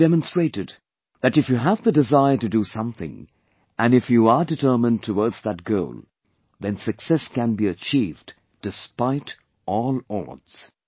They have demonstrated that if you have the desire to do something and if you are determined towards that goal then success can be achieved despite all odds